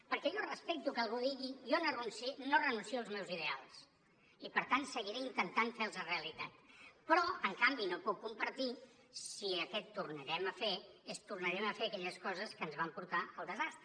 perquè jo respecto que algú digui jo no renuncio als meus ideals i per tant seguiré intentant fer los realitat però en canvi no ho puc compartir si aquest ho tornarem a fer és tornarem a fer aquelles coses que ens van portar al desastre